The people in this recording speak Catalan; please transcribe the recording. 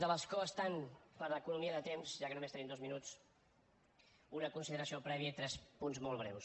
de l’escó estant per economia de temps ja que només tenim dos minuts una consideració prèvia i tres punts molt breus